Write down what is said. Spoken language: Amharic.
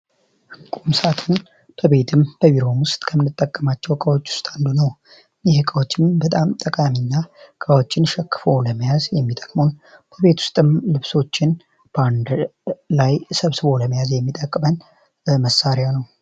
ቁምሳጥን ለቤትም በቢሮም ውስጥ ከምንጠቀማቸው እቃዎች ውስጥ አንዱ ነው። ይህ እቃ በጣም ጠቃሚ እኛ እቃዎችን ሸክፎ ለመያዝ የሚጠቅመን በቤት ውስጥም ልብሶችን ባንድ ላይ ሰብስቦ ለመያዝ የሚጠቅመን መሳሪያ ነው።